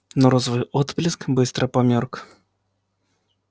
но розовый отблеск быстро померк